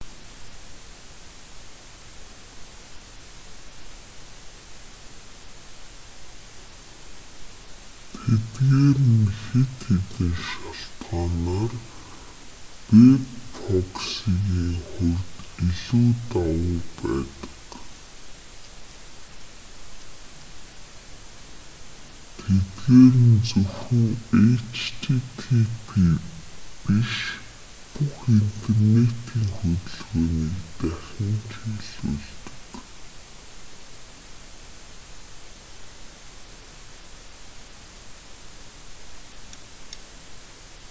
тэдгээр нь хэд хэдэн шалтгаанаар вэб проксигийн хувьд илүү давуу байдаг тэдгээр нь зөвхөн http биш бүх интернэтийн хөдөлгөөнийг дахин чиглүүлдэг